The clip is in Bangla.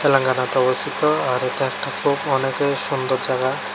অবস্থিত আর এটা একটা খুব অনেকই সুন্দর জায়গা।